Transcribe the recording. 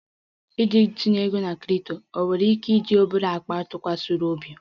Iji tinye ego na crypto, ị nwere ike iji obere akpa ntụkwasị obi?